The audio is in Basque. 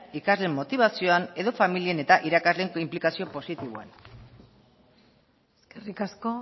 ikasleen motibazioan edo familien eta irakasleen inplikazio positiboan eskerrik asko